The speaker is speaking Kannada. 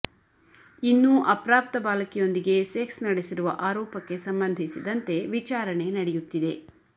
ಇನ್ನೂ ಅಪ್ರಾಪ್ತ ಬಾಲಕಿಯೊಂದಿಗೆ ಸೆಕ್ಸ್ ನಡೆಸಿರುವ ಆರೋಪಕ್ಕೆ ಸಂಬಂಧಿಸಿದಂತೆ ವಿಚಾರಣೆ ನಡೆಯುತ್ತಿದೆ